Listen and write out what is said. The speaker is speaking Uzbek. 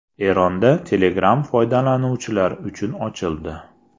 Eronda Telegram foydalanuvchilar uchun ochildi.